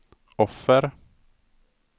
offer